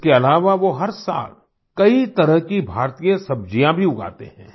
इसके अलावा वो हर साल कई तरह की भारतीय सब्जियाँ भी उगाते हैं